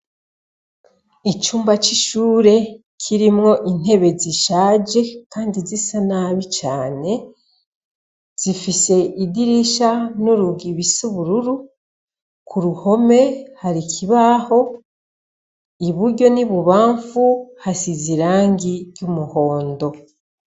Icumba cishure kirimwo intebe zishaje kandi zisa nabi cane, zifise idirisha nurugi bisa ubururu ku ruhome hari ikibaho iburyo n'ibubamfu hasize irangi ryumuhondo.